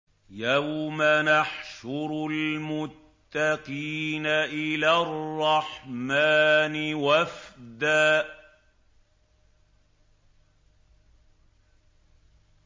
يَوْمَ نَحْشُرُ الْمُتَّقِينَ إِلَى الرَّحْمَٰنِ وَفْدًا